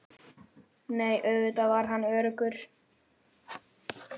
Nei, auðvitað var hann öruggur.